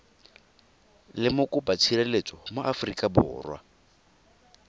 le mokopatshireletso mo aforika borwa